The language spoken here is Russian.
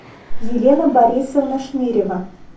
елена борисовна шнырева